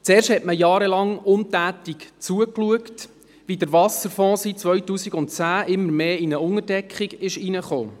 Zuerst schaute man jahrelang untätig zu, wie der Wasserfonds seit 2010 immer mehr in eine Unterdeckung hineinkam.